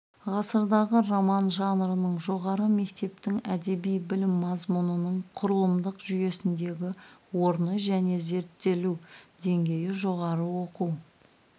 ғасырдағы роман жанрының жоғары мектептің әдеби білім мазмұнының құрылымдық жүйесіндегі орны және зерттелу деңгейі жоғары оқу